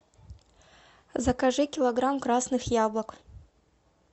закажи килограмм красных яблок